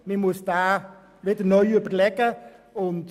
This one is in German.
Man muss ihn neu überdenken.